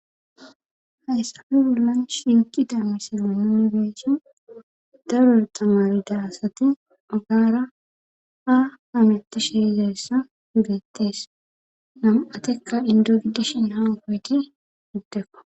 Hayssame bollan shinki dammisi nunibeeshe darore xamarida asate magaara ha hamitishe izayssa geettees nam7atekka indo gidishen hawakoyti giddekka.